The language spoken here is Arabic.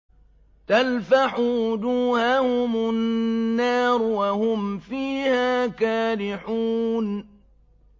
تَلْفَحُ وُجُوهَهُمُ النَّارُ وَهُمْ فِيهَا كَالِحُونَ